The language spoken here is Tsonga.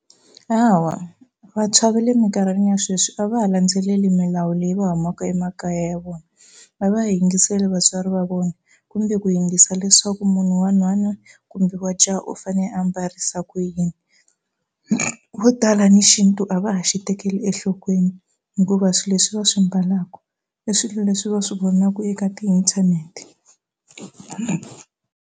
Hawa vantshwa ve le mikarhini ya sweswi a va ha landzaleli milawu leyi va humaka emakaya vona va va yingiseli vatswari va vona kumbe ku yingisa leswaku wa nhwana kumbe wa jaha u fane a mbarisa ku yini vo tala ni xintu a va ha xi tekeli enhlokweni hikuva swi leswi va swi mbalaku i swilo leswi va swi vonaku eka ti-internet.